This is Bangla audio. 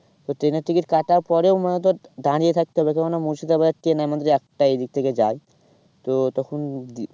তো ট্রেনের ticket কাটার পরেও মানে ধর দাঁড়িয়ে থাকতে হবে কেন না মুর্শিদাবাদ ট্রেন আমাদের একটাই এদিক থেকে যায়। তো তখন